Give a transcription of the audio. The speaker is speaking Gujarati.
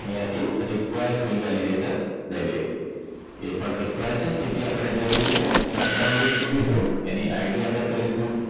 અહીંયા થી require field validater લઈ લઈશું એ પણ require city આપણે જરૂરી છે job down list પકડીશું એની ID આપણે કરીશું